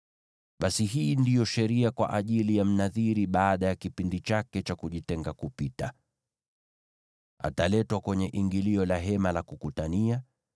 “ ‘Basi hii ndiyo sheria kwa ajili ya Mnadhiri baada ya kipindi chake cha kujitenga kupita. Ataletwa kwenye ingilio la Hema la Kukutania.